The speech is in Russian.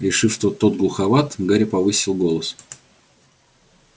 решив что тот глуховат гарри повысил голос